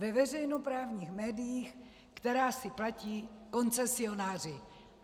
Ve veřejnoprávních médiích, která si platí koncesionáři.